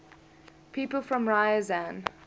people from ryazan